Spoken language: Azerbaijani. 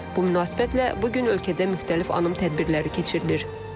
Bu münasibətlə bu gün ölkədə müxtəlif anım tədbirləri keçirilir.